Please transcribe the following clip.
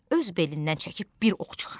Öz belindən çəkib bir ox çıxartdı.